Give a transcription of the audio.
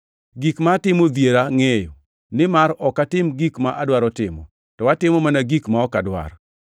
Gik ma atimo odhiera ngʼeyo. Nimar ok atim gik ma adwaro, to atimo mana gik ma ok adwar.